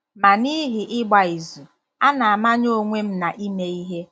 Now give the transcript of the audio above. Ma n'ihi ịgba izu, a na-amanye onwe m na ime ihe.